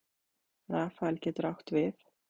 Rafael getur átt við